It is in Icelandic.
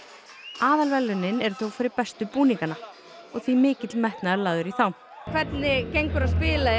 aðalverðlaunin eru þó fyrir bestu búningana og því mikill metnaður lagður í þá hvernig gengur að spila í